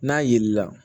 N'a yeli la